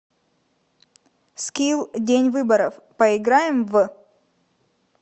скилл день выборов поиграем в